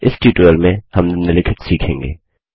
इस ट्यूटोरियल में हम निम्नलिखित सीखेंगे